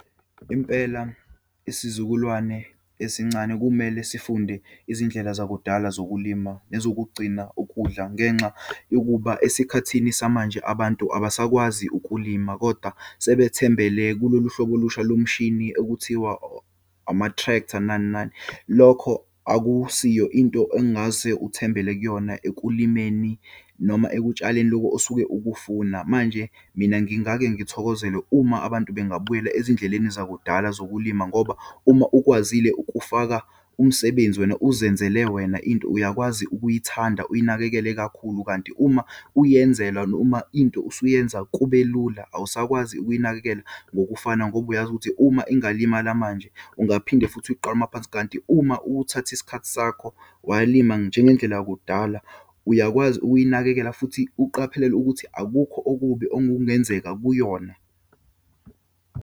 Impela isizukulwane esincane kumele sifunde izindlela zakudala zokulima nezokugcina ukudla, ngenxa yokuba esikhathini samanje, abantu abasakwazi ukulima koda sebethembele kulolu hlobo olusha lomshini okuthiwa ama-tractor, nani, nani. Lokho akusiyo into engase uthembele kuyona ekulimeni noma ekutshaleni lokho osuke ukufuna. Manje mina, ngingake ngithokozele uma abantu bengabuyela ezindleleni zakudala zokulima ngoba uma ukwazile ukufaka umsebenzi wena uzenzele wena, into uyakwazi ukuyithanda, uyinakekele kakhulu. Kanti uma uyenzelwa, noma into usuyenza kube lula, awusakwazi ukuyinakekela ngokufana ngoba uyazi ukuthi uma ingalimala manje ungaphinde futhi uyiqale maphansi. Kanti uma uthatha isikhathi sakho walima njengendlela yokudala, uyakwazi ukuyinakekela futhi uqaphelele ukuthi akukho okubi okungenzeka kuyona.